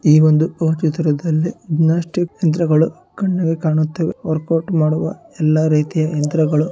ಈ ಒಂದು ಚಿತ್ರದಲ್ಲಿ ಜಿಮ್ನಾಸ್ಟಿಕ್ ಯಂತ್ರಗಳು ಕಣ್ಣಿಗೆ ಕಾಣುತ್ತವೆ. ವರ್ಕ್ಔಟ್ ಮಾಡುವ ಎಲ್ಲಾ ರೀತಿಯ ಯಂತ್ರಗಳು --